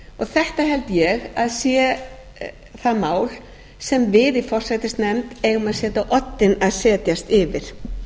þetta held ég að sé það mál sem við forsætisnefnd eigum að setja á oddinn að setjast yfir